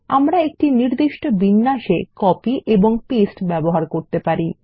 আমরা একটি নির্দিষ্ট বিন্যাসে কপি এবং পেস্ট ব্যবহার করতে পারি